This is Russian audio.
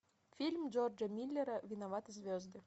фильм джорджа миллера виноваты звезды